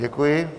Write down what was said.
Děkuji.